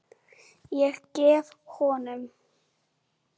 Ég gef honum